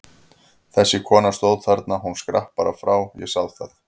Þessi kona stóð þarna, hún skrapp bara frá, ég sá það!